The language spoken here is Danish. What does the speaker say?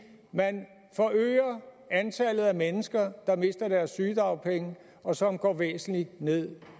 man forøger antallet af mennesker der mister deres sygedagpenge og som går væsentligt ned